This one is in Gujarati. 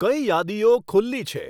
કઈ યાદીઓ ખુલ્લી છે